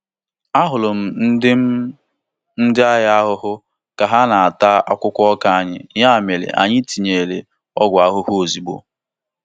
Ahụrụ m ndị m ndị agha ahụhụ ka ha na-ata akwụkwọ ọka anyị, ya mere anyị tinyere ọgwụ ahụhụ ozugbo.